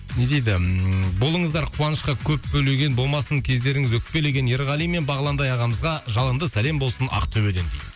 не дейді ммм болыңыздар қуанышқа көп бөлеген болмасын кездеріңіз өкпелеген ерғали мен бағландай ағамызға жалынды сәлем болсын ақтөбеден дейді